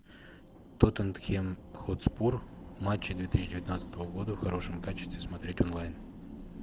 тоттенхэм хотспур матчи две тысячи девятнадцатого года в хорошем качестве смотреть онлайн